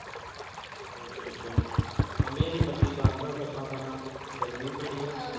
ਅੱਛਾ ਅੱਛਾ ਬੰਬੀਆਂ ਦੇ ਬਾਤੀ ਬੰਦ ਆ ਸਿਆਪਾ ਖਾਣਾ ਗਰਮੀ ਬੜੀ ਆ